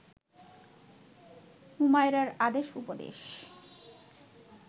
হুমায়রার আদেশ উপদেশ